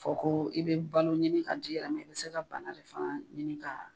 Fɔ ko i be balo ɲini ka ka di a ma, i bi se ka bana de fana ɲini ka